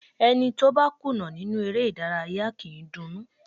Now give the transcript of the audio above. Ẹni tó bá kùnà nínú eré ìdárayá kì í dunnú.